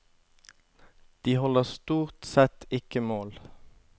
De holder stort sett ikke mål.